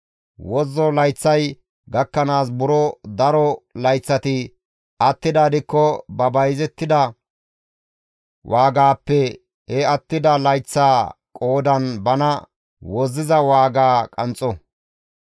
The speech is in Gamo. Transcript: Wozzo layththay gakkanaas buro daro layththati attidaa gidikko ba bayzettida waagaappe he attida layththaa qoodan bana wozziza waagaa qanxxo.